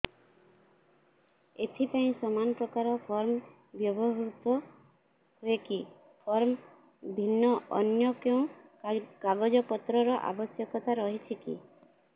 ଏଥିପାଇଁ ସମାନପ୍ରକାର ଫର୍ମ ବ୍ୟବହୃତ ହୂଏକି ଫର୍ମ ଭିନ୍ନ ଅନ୍ୟ କେଉଁ କାଗଜପତ୍ରର ଆବଶ୍ୟକତା ରହିଛିକି